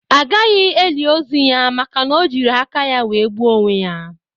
Agaghị eli ozu ya maka na ojiri aka ya wee gbuo onwe ya.